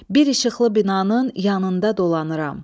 Bir işıqlı binanın yanında dolanıram.